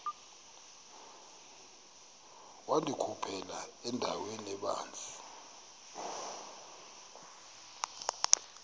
wandikhuphela endaweni ebanzi